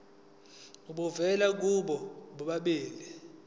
obuvela kubo bobabili